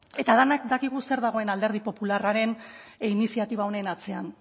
eta denak dakigu zer dagoen alderdi popularraren iniziatiba honen atzean